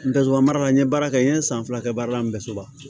Ntɛ nsonsanba n ye baara kɛ n ye san fila kɛ baara la an bɛ soba